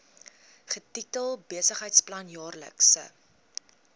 getitel besigheidsplan jaarlikse